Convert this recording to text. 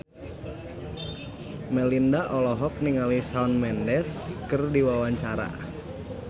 Melinda olohok ningali Shawn Mendes keur diwawancara